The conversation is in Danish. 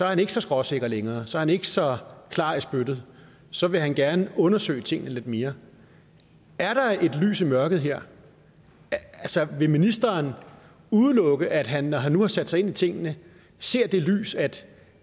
han ikke så skråsikker længere så er han ikke så klar i spyttet så vil han gerne undersøge tingene lidt mere er der et lys i mørket her vil ministeren udelukke at han når han nu har sat sig ind i tingene ser det lys at